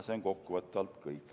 " See on kokkuvõtvalt kõik.